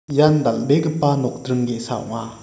ian dal·begipa nokdring ge·sa ong·a.